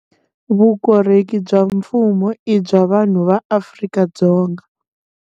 Vukorheri bya mfumo i bya vanhu va Afrika-Dzonga.